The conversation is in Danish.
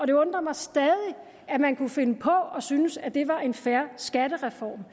det undrer mig stadig at man kunne finde på at synes at det var en fair skattereform